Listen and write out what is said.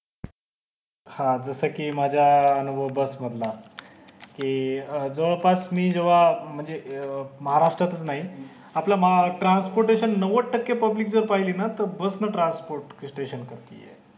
हा जस कि माझा अं अनुभव बस मधला कि अं जवळपास मी जवा म्हणजे अं महारष्ट्रात नाही आपलं महा transport नव्वद टक्के public जर पहिले ना बस ने transport station करतेय हे